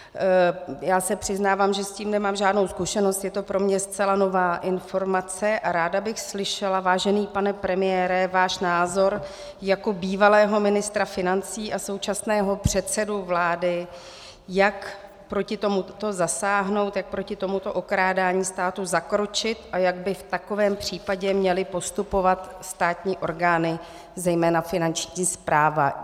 Já se přiznávám, že s tím nemám žádnou zkušenost, je to pro mě zcela nová informace a ráda bych slyšela, vážený pane premiére, váš názor jako bývalého ministra financí a současného předsedy vlády, jak proti tomuto zasáhnout, jak proti tomuto okrádání státu zakročit a jak by v takovém případě měly postupovat státní orgány, zejména Finanční správa.